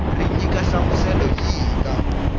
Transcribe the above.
ri nyika nhlamuselo yihi eka